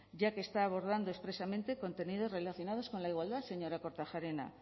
ya que está abordando expresamente contenidos relacionados con la igualdad señora kortajarena